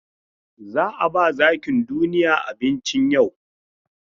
Za a ba zakin duniya abinci yau.